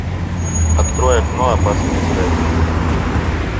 открой окно опасные связи